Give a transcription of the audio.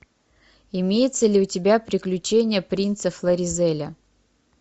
имеется ли у тебя приключения принца флоризеля